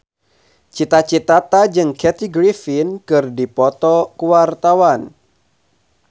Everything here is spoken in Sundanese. Cita Citata jeung Kathy Griffin keur dipoto ku wartawan